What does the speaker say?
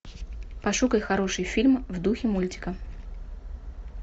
пошукай хороший фильм в духе мультика